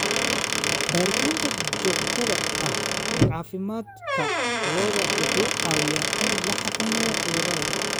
Baaritaanka joogtada ah ee caafimaadka lo'da wuxuu caawiyaa in la xakameeyo cudurrada.